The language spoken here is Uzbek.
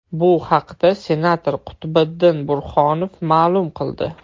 Bu haqda senator Qutbiddin Burhonov ma’lum qildi.